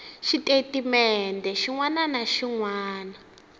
xitatimende xin wana na xin